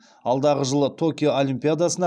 алдағы жылы токио олимпиадасына